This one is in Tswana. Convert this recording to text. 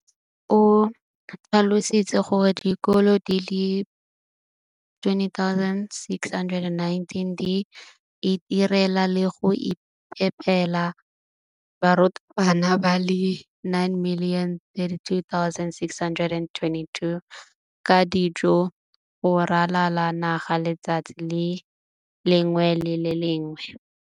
o tlhalositse gore dikolo di le 20 619 di itirela le go iphepela barutwana ba le 9 032 622 ka dijo go ralala naga letsatsi le lengwe le le lengwe.